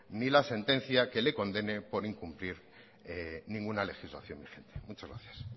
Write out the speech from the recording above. ni la sentencia que le condene por incumplir ninguna legislación vigente muchas gracias